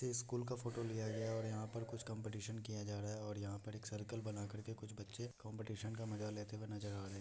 ये स्कूल का फोटो लिया गया है और यहाँ पे कुछ कम्पीटिशन किया जा रहा है और यहाँ पर एक सर्कल बनाकर के कुछ बच्चे कम्पीटिशन का मजा लेते हुए नजर आ रहे --